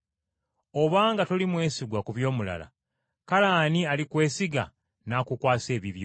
Obanga toli mwesigwa ku by’omulala, kale ani alikwesiga n’akukwasa ebibyo?